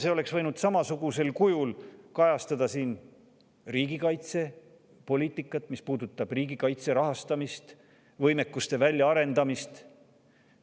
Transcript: See oleks võinud samasugusel kujul kajastada riigikaitsepoliitikat, mis puudutab riigikaitse rahastamist ja võimekuste väljaarendamist.